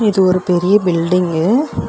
இது ஒரு பெரிய பில்டிங்கு .